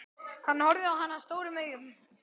Hann horfði á hana stórum augum.